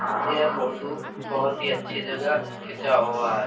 ये फोटो बहोत ही अच्छी जगह खींचा हुआ है।